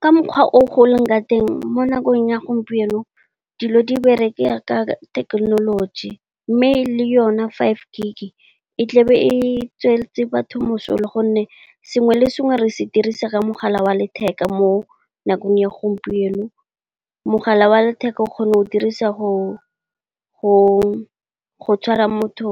Ka mokgwa o leng ka teng mo nakong ya gompieno dilo di bereka ka thekenoloji. Mme le yone fiveG e tlabe e tswetse batho mosola gonne, sengwe le sengwe re se dirisa ka mogala wa letheka mo nakong ya gompieno. Mogala wa letheka o kgona go o dirisa go tshwara motho